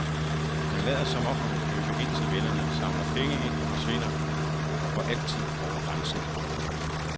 Man lader som om man vil købe ind til vennerne, samler penge ind og forsvinder for altid over grænsen.